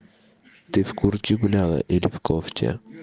ты в куртке гуляла или в кофте